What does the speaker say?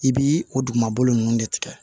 I bi o dugumakolo nunnu de tigɛ